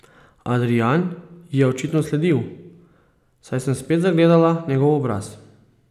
Adrijan ji je očitno sledil, saj sem spet zagledala njegov obraz.